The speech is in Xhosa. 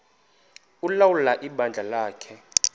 ulawula ibandla lakhe